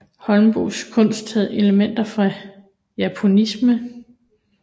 Holmboes kunst havde elementer fra japonisme